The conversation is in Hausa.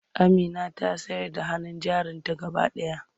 Amina ta sayar da hannun jarinta gaba ɗaya.